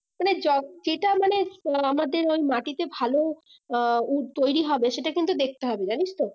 মানে য~যেটা মানে আহ আমাদের ওই মাটিতে ভালো আহ উঃ তৈরী হবে সেটা কিন্তু দেখতে হবে জানিস তো